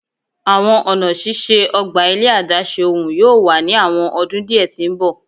Awọn ọna ṣiṣe ogba ile adaṣe ohun yoo wa ni awọn ọdun diẹ ti mbọ